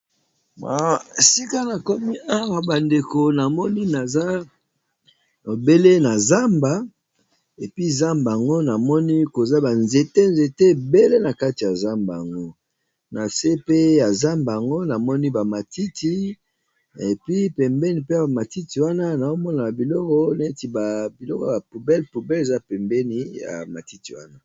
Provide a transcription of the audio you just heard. Sika na komi awa bandeko na moni naza bobele na zamba epi zamba yango namoni koza banzete nzete ebele na kati ya zamba yango, na se pe ya zamba yango namoni ba matiti epi, pembeni mpe bamatiti wana na omona na biloko neti babiloko ba poubel poubel eza pembeni ya matiti wana.